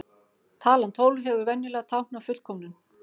Talan tólf hefur venjulega táknað fullkomnum.